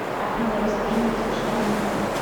афина расскажи мне смешной анекдот